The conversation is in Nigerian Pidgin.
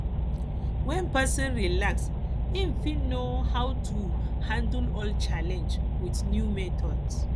when person reflect im fit know how to how to take handle old challenge with new method